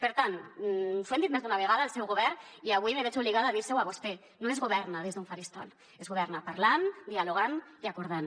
per tant els ho hem dit més d’una vegada al seu govern i avui me veig obligada a dir li ho a vostè no es governa des d’un faristol es governa parlant dialogant i acordant